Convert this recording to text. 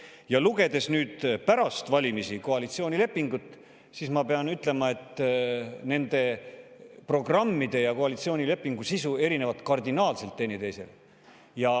Ja lugedes nüüd pärast valimisi koalitsioonilepingut, ma pean ütlema, et nende programmide ja koalitsioonilepingu sisu erinevad teineteisest kardinaalselt.